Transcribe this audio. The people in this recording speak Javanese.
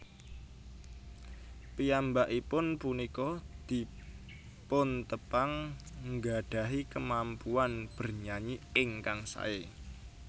Piyambakipun punika dipuntepang nggadahi kemampuan bernyanyi ingkang sae